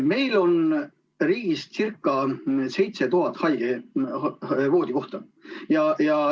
Meil on riigis circa 7000 haigevoodikohta.